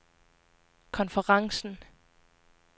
konferencen